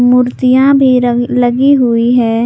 मूर्तियां भी लगी हुई है।